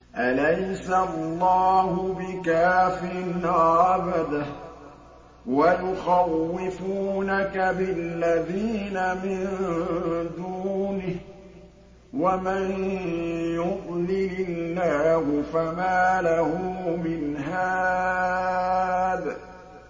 أَلَيْسَ اللَّهُ بِكَافٍ عَبْدَهُ ۖ وَيُخَوِّفُونَكَ بِالَّذِينَ مِن دُونِهِ ۚ وَمَن يُضْلِلِ اللَّهُ فَمَا لَهُ مِنْ هَادٍ